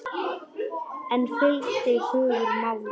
En fylgdi hugur máli?